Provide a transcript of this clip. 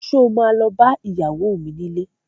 Sọ ma lọ bá ìyàwó mi nílé?